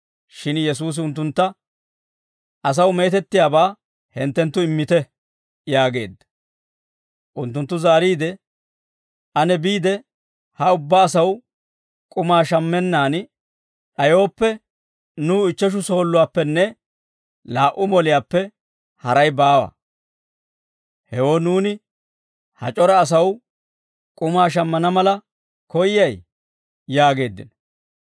Shin Yesuusi unttuntta, «Asaw meetettiyaabaa hinttenttu immite» yaageedda. Unttunttu zaariide, «Ane biide, ha ubbaa asaw k'umaa shammenaan d'ayooppe nuw ichcheshu sooluwaappenne laa"u moliyaappe haray baawa; hewoo nuuni ha c'ora asaw k'umaa shammana mala koyyay?» yaageeddino.